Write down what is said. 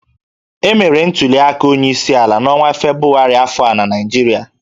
Emere ntuliaka onyeisiala n'ọnwa Febụwarị afọ a na Naịjirịa